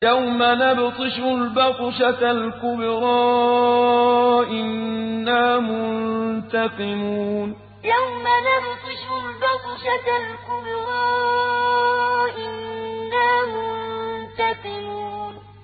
يَوْمَ نَبْطِشُ الْبَطْشَةَ الْكُبْرَىٰ إِنَّا مُنتَقِمُونَ يَوْمَ نَبْطِشُ الْبَطْشَةَ الْكُبْرَىٰ إِنَّا مُنتَقِمُونَ